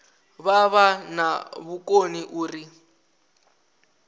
vha vha na vhukoni uri